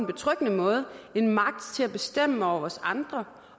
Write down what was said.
betryggende måde en magt til at bestemme over os andre